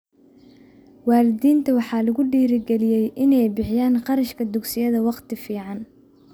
Waalidiinta waxaa lagu dhiirigeliyay inay bixiyaan kharashka dugsiyada wakhti fican.